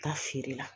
Taa feere la